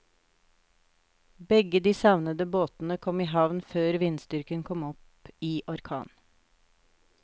Begge de savnede båtene kom i havn før vindstyrken kom opp i orkan.